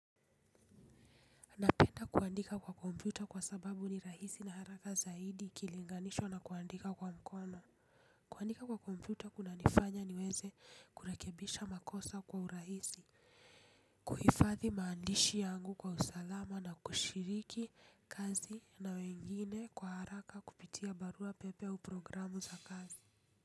Napenda kuandika kwa kompyuta kwa sababu ni rahisi na haraka zaidi ikilinganishwa na kuandika kwa mkono. Kuandika kwa kompyuta kunanifanya niweze kurekebisha makosa kwa urahisi. Kuhifadhi maandishi yangu kwa usalama na kushiriki kazi na wengine kwa haraka kupitia barua pepe au programu za kazi.